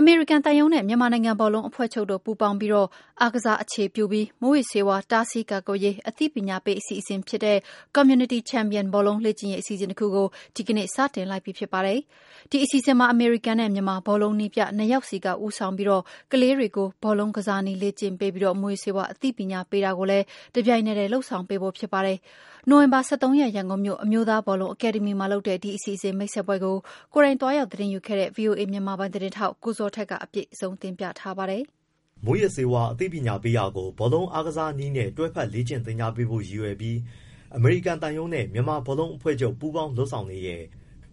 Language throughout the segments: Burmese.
အမေရိကန်သံရုံးနဲ့ မြန်မာနိုင်ငံဘောလုံးအဖွဲ့ချုပ်တို့ ပူးပေါင်းပြီး အားကစားအခြေပြု မူးယစ်ဆေးဝါး တားဆီးကာကွယ်ရေး အသိပညာပေး အစီအစဉ်ဖြစ်တဲ့ Community Champion ဘောလုံးလေ့ကျင့်ရေး အစီအစဉ် တခုကို ဒီနေ့စတင်လိုက်ပြီဖြစ်ပါတယ်။ ဒီအစီစဉ်မှာ အမေရိကန်နဲ့ မြန်မာ ဘောလုံးနည်းပြ နှစ်ယောက်က ဦးဆောင်ပြီး ကလေးတွေကို ဘောလုံးကစားနည်းလေ့ကျင့်ပေးပြီး မူးယစ်ဆေးဝါး အသိပညာပေး တာကိုလည်း တပြိုင်နက်တည်းမှာ လုပ်ဆောင်ပေးဖို့ဖြစ်ပါတယ်။ နိုဝင်ဘာ ၁၃ရက်၊ ရန်ကုန်မြို့ အမျိုးသားဘောလုံးအကယ်ဒမီမှာ လုပ်တဲ့ ဒီအစီအစဉ်မိတ်ဆက်ပွဲကို ကိုယ်တိုင်သွားရောက် သတင်းယူခဲ့တဲ့ ဗွီအိုအေ မြန်မာပိုင်းသတင်းထောက် ကိုဇော်ထက်က အပြည့်အစုံကို ပြောပြပေးသွားမှာပါ။ မူးယစ်ဆေးဝါးအသိပညာပေးတာကို ဘောလုံးအားကစားနည်းနဲ့ တွဲဖက်လေ့ကျင့်ပေးဖို့ ရည်ရွယ်ပြီး အမေရိကန်သံရုံးနဲ့ မြန်မာဘောလုံးအဖွဲ့ချုပ်ပူးပေါင်း လုပ်ဆောင်နေတဲ့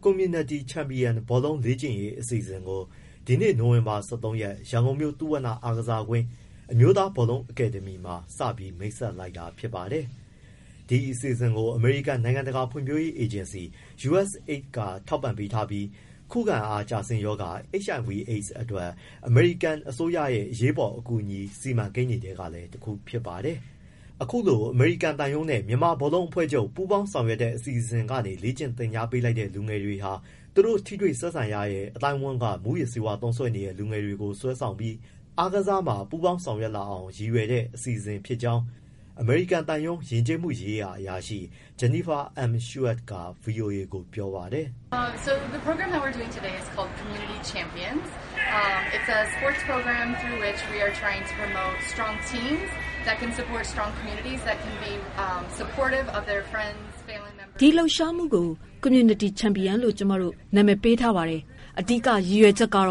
Community Champion ဘောလုံးလေ့ကျင့်ရေး အစီအစဉ်ကို ဒီနေ့ နိုဝင်ဘာ ၁၃ရက် ရန်ကုန်မြို့ သုဝဏ္ဏအားကစားကွင်း၊ အမျိုးသား ဘောလုံးအကယ်ဒမီမှာ စတင်မိတ်ဆက်လိုက်တာဖြစ်ပါတယ်။ ဒီအစီအစဉ်ကို အမေရိကန် နိုင်ငံတကာ ဖွံ့ဖြိုးရေးအေဂျင်စီ USAID က ထောက်ပံ့ပေးထားပြီး ခုခံအားကျဆင်းရောဂါ HIV/ AIDS အတွက် အမေရိကန်အစိုးရရဲ့ အရေးပေါ်အကူအညီ စီမံကိန်းတွေထဲက တခုလည်းဖြစ်ပါတယ်။ အခုလို အမေရိကန်သံရုံးနဲ့ မြန်မာနိုင်ငံ ဘောလုံးအဖွဲ့ချုပ် ပူးပေါင်းဆောင်ရွက်တဲ့ အစီအစဉ်ကနေ လေ့ကျင့် သင်ကြားပေးလိုက်တဲ့ လူငယ်တွေဟာ သူတို့နဲ့ ထိတွေ့ဆက်ဆံနေတဲ့ အသိုင်းအဝန်းက မူးယစ်ဆေးသုံးစွဲနေတဲ့ လူငယ်တွေကို ဆွဲဆောင်ပြီး အားကစားမှာ ပူးပေါင်းဆောင်ရွက်လာအောင် ရည်ရွယ်တဲ့ အစီအစဉ်ဖြစ်ကြောင်း အမေရိကန်သံရုံး၊ ယဉ်ကျေးမှုရေးရာအရာရှိ Jennifer M. Schuett က ဗွီအိုအေကို ပြောပါတယ်။ “ ဒီ လှုပ်ရှားမှု ကို community champion လို့ခေါ်ပါတယ်။ သူ့ရဲ့ အဓိက ရည်ရွယ်ချက်က ဘော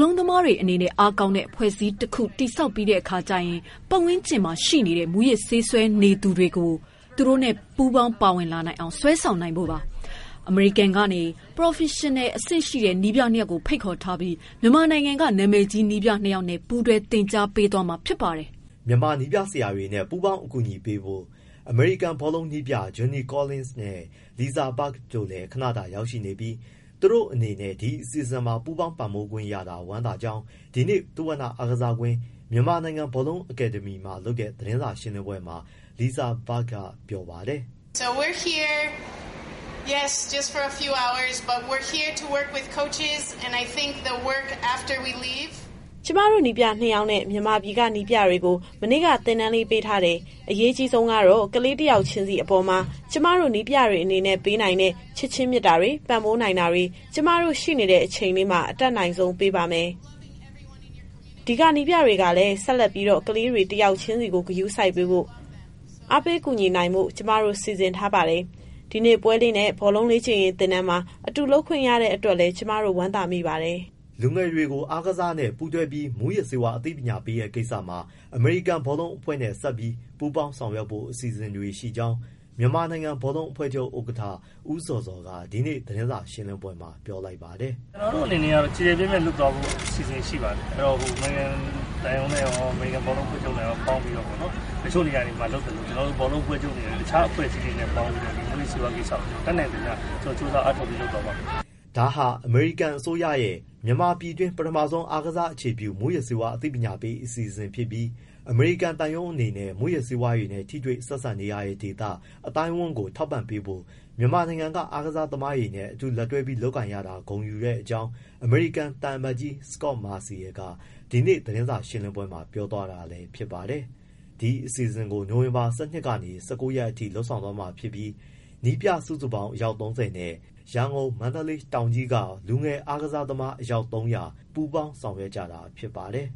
လုံးကစားသမားတွေ အနေနဲ့ အားကောင်းတဲ့ အဖွဲ့အစည်းတခု တည်ဆောက်ပြီးတဲ့အခါကျရင် သူ့ရဲ့ ပတ်ဝန်းကျင်မှာရှိတဲ့ မူးယစ်ဆေးသုံးစွဲနေသူတွေ သူတို့နဲ့ပူးပေါင်းပါဝင်လာအောင် ဆွဲဆောင်နိုင်ဖို့ပါ။ အမေရိကန်ကနေ ပရော်ဖက်ရင်အဆင့်ရှိတဲ့ နည်းပြနှစ်ယောက်ကို ဖိတ်ခေါ်ထားပြီး မြန်မာနိုင်ငံက နာမည်ကြီးနည်းပြနှစ်ယောက်နဲ့ ပူးတွဲသင်ကြားပေးမှာ ဖြစ်ပါတယ်။” မြန်မာနည်းပြဆရာတွေနဲ့ ပူးပေါင်းအကူအညီပေးဖို့ အမေရိကန်ဘောလုံးနည်းပြ Johnny Collins နဲ့ Lisa Berg လည်း ခဏတာ ရောက်ရှိနေပြီး သူတို့အနေနဲ့ ဒီအစီအစဉ်မှာ ပူပေါင်းပံ့ပိုးခွင့်ရတာ ဝမ်းသာကြောင်း ဒီနေ့ သုဝဏအားကစားကွင်း၊ မြန်မာနိုင်ငံ ဘောလုံးအကယ်ဒမီမှာလုပ်တဲ့ သတင်းစာရှင်းလင်းပွဲမှာ Lisa Berg ကပြောပါတယ်။ “ ကျမတို့ ခေါင်းဆောင်နည်းပြ နှစ်ယောက်နဲ့ မြန်မာပြည်က နည်းပြတွေကို မနေ့က သင်တန်းလေး ပေးထားတယ်။ အရေးအကြီးဆုံးကတော့ ကလေးတယောက်ချင်းစီ အပေါ်မှာ ကျမတို့ နည်းပြတွေအနေနဲ့ ပေးနိုင်တဲ့ ချစ်ခြင်းမေတ္တာတွေ၊ ပံ့ပိုးပေးနိုင်တာတွေ ကျမတို့ ရှိနေတဲ့အချိန်လေးမှာ အတတ်နိုင်ဆုံးပေးပါမယ်။ ဒီကနည်းပြတွေကလည်း ဆက်လက်ပြီးတော့ ကလေးတွေ တယောက်ချင်းကို ဂရုစိုက်ပေးဖို့၊ အားပေး ကူညီနိုင်ဖို့ ကျမတို့ စီစဉ်ထားပါတယ်။ ဒီနေ့ပွဲလေးနဲ့ ဘောလုံးလေ့ကျင့်ရေးသင်တန်းမှာ အတူလုပ်ခွင့်ရတဲ့ အတွက်လည်း ကျမတို့ ဝမ်းသာမိပါတယ်။” လူငယ်တွေကို အားကစားနဲ့ ပူးတွဲပြီး မူးယစ်ဆေးဝါးအသိပညာပေးတဲ့ ကိစ္စမှာ အမေရိကန်ဘောလုံးအဖွဲ့နဲ့ ဆက်ပြီး ပူပေါင်းဆောင်ရွက်ဖို့ အစီအစဉ်တွေရှိကြောင်း မြန်မာနိုင်ငံ ဘောလုံးအဖွဲ့ချုပ်ဥက္ကဋ္ဌ ဦးဇော်ဇော်က ဒီကနေ့ သတင်းစာရှင်းလင်းပွဲမှာ ပြောလိုက်ပါတယ်။ “ ကျနော်တို့အနေနဲ့က ကျယ်ကျယ်ပြန့်ပြန့် လုပ်သွားဖို့ အစီအစဉ် ရှိပါတယ်။ အမေရိကန်သံရုံးနဲ့ရော၊ အမေရိကန် ဘောလုံးအဖွဲ့ချုပ်နဲ့ရော ပေါင်းပြီးတော့ပေါ့နော်။ တချို့နေရာတွေမှာလုပ်သလို ကျနော်တို့ ဘောလုံးအဖွဲ့ချုပ်က တခြားအဖွဲ့အစည်းတွေနဲ့ပေါင်းပြီး မူးယစ်ဆေးးဝါးကိစ္စကို တတ်နိုင်သမျှ ကြိုးစား အားထုတ်ပြီး လုပ်သွားပါမယ်။” ဒါဟာ အမေရိကန်အစိုးရရဲ့ မြန်မာပြည်တွင်း ပထမဦးဆုံး အားကစားအခြေပြု မူးယစ်ဆေးဝါးအသိပညာပေး အစီအစဉ်ဖြစ်ပြီး အမေရိကန်သံရုံးအနေနဲ့ မူးယစ်ဆေးဝါးနဲ့ ထိတွေ့ပတ်သက်နေရတဲ့ ဒေသ၊ အသိုင်းအဝန်းကို ထောက်ပံ့ပေးဖို့ မြန်မာနိုင်ငံက အားကစားသမားတွေနဲ့ အတူတွဲပြီး လုပ်ကိုင်ရတာ ဂုဏ်ယူတဲ့ကြောင်း သံအမတ်ကြီး Scot Marcial က ဒီနေ့ သတင်းစာရှင်းလင်းပွဲမှာ ပြောသွားတာလည်း ဖြစ်ပါတယ်။ ဒီအစီအစဉ်ကို နိုဝင်ဘာ ၁၂ကနေ ၁၉ ရက်အထိ လုပ်ဆောင်သွားမှာဖြစ်ပြီး နည်းပြစုစုပေါင်း အယောက် ၃၀နဲ့ လူငယ်ဘောလုံးကစားသမား အယောက် ၃၀၀ ပူးပေါင်း ဆောင်ရွက်ကြတာ ဖြစ်ပါတယ်